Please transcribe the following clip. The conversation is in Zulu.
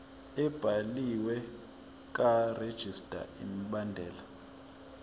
ebhaliwe karegistrar imibandela